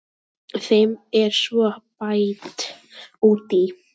Þeim er svo bætt út í.